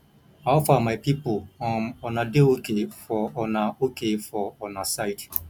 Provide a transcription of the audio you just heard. how far my people um una dey ok for una ok for una side